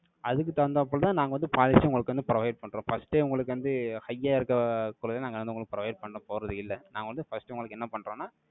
அதுக்கு தகுந்தாப்புலதான், நாங்க வந்து, policy உங்களுக்கு வந்து, provide பண்றோம். First ஏ, உங்களுக்கு வந்து, high யா இருக்கிற, நாங்க வந்து, உங்களுக்கு, provide பண்ண போறது இல்ல. நான் வந்து, first, உங்களுக்கு, என்ன பண்றோம்ன்னா,